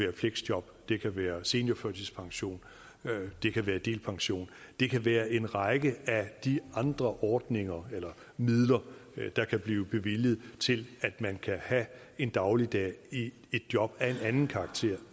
et fleksjob det kan være seniorførtidspension det kan være delpension det kan være en række af de andre ordninger eller midler der kan blive bevilget til at man kan have en dagligdag i et job af en anden karakter